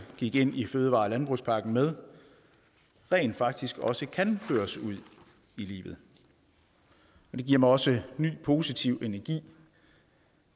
gik ind i fødevare og landbrugspakken med rent faktisk også kan føres ud i livet det giver mig også ny positiv energi